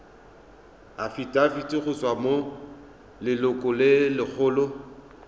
afitafiti go tswa go lelokolegolo